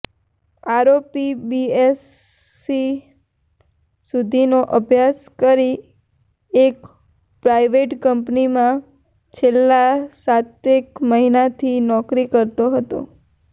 આરોપી બીએસસી સુધીનો અભ્યાસ કરી એક પ્રાઇવેટ કંપનીમાં છેલ્લા સાતેક મહિનાથી નોકરી કરતો હતો